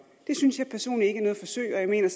det synes jeg personligt ikke er noget forsøg og jeg mener